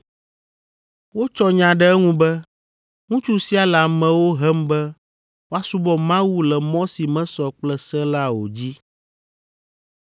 Wotsɔ nya ɖe eŋu be, “Ŋutsu sia le amewo hem be woasubɔ Mawu le mɔ si mesɔ kple se la o dzi.”